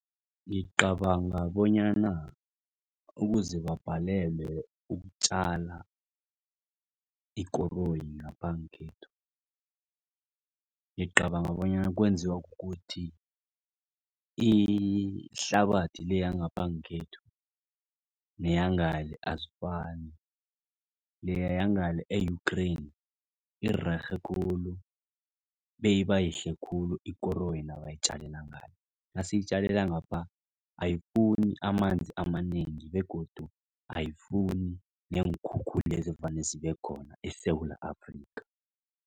Ngicabanga bonyana ukuze babhalelwe ukutjala ikoroyi ngapha ngekhethu. Ngicabanga bonyana kwenziwa kukuthi ihlabathi le yangapha ngekhethu neyangale azifani leya ngale e-Ukraine irerhe khulu beyibayihle khulu ikoroyi nabayitjalela ngale. Nasiyitjalela ngapha ayifuni amanzi amanengi begodu ayifuni neenkhukhula lezi evane zibekhona eSewula Afrika.